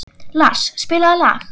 Lars, spilaðu lag.